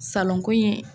Salonko in